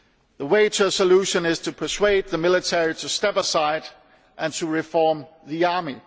The way to a solution is to persuade the military to step aside and to reform the army.